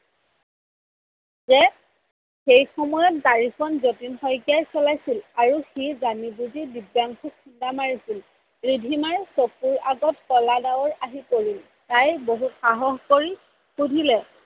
যে সেই সময়ত গাড়ীখ্ন জতিন শইকীয়াই চলাইছিল আৰু সি জানি বুজি দিব্যাংসুক খুন্দা মাৰিছিল। ৰিধিমাৰ চকুৰ আগত কলা ডাৱৰ আহি পৰিল তাই বহুত সাহস কৰি সুধিলে